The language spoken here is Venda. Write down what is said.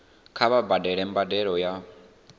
kha vha badele mbadelo ya